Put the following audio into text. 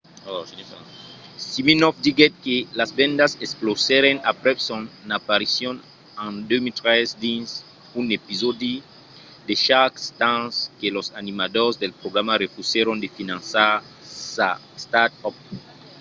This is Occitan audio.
siminoff diguèt que las vendas explosèron aprèp son aparicion en 2013 dins un episòdi de shark tank que los animadors del programa refusèron de finançar sa start-up